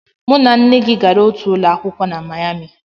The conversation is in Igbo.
Mụ na nne gị gara otu ụlọ akwụkwọ na Mayami